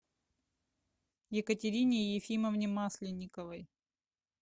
екатерине ефимовне масленниковой